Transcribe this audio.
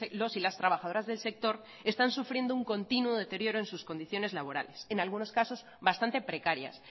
los y las trabajadoras del sector están sufriendo un continuo deterioro en sus condiciones laborales en algunos casos bastante precarias